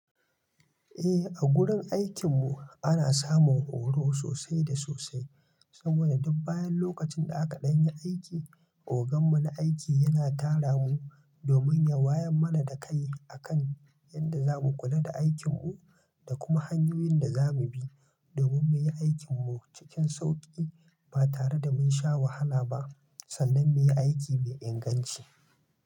Eh, a gurin aikin mu ana samun horo sosai da sosai. Saboda duk bayan lokacin da aka ɗan yi aiki, ogan mu na aiki yana tara mu domin ya waya mana da kai akan yanda zamu kula da aikin mu dakuma hanyoyin da zamu bi saboda duk bayan lokacin da aka ɗan yi aiki, ogan mu na aiki yana tara mu tsannan muyi aiki me inganci.